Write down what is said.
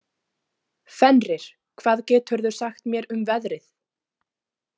Fenrir, hvað geturðu sagt mér um veðrið?